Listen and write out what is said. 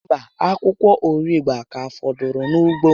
Mba, akwụkwọ arigbe ka fọdụrụ na ugbo m